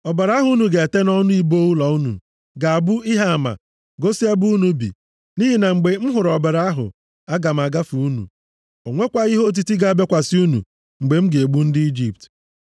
Ọbara ahụ unu ga-ete nʼọnụ ibo ụlọ unu ga-abụ ihe ama igosi ebe unu bi, nʼihi na mgbe m hụrụ ọbara ahụ, aga m agafe unu. Ọ nwekwaghị ihe otiti ga-abịakwasị unu mgbe m ga-egbu ndị Ijipt.